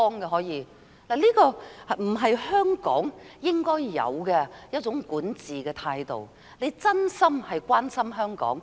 這並非香港應有的管治態度，而是要真心關心香港。